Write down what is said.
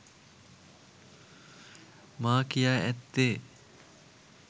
මා කියා ඇත්තේ